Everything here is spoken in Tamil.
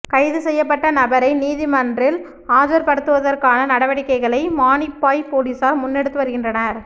கைதுசெய்யப்பட்ட நபரை நீதிமன்றில் ஆஜர்படுத்துவதற்கான நடவடிக்கைகளை மானிப்பாய் பொலிஸார் முன்னெடுத்து வருகின்றனர்